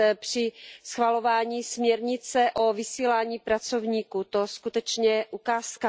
při schvalování směrnice o vysílání pracovníků, to je skutečně ukázka.